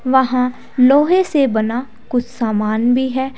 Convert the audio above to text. वहाँ लोहे से बना कुछ सामान भी है।